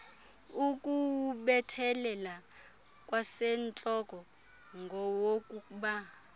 ukuwubethelela kwasentloko ngowokuba